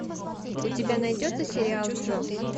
у тебя найдется сериал джо